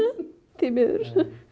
því miður